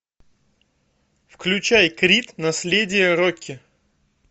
включай крид наследие рокки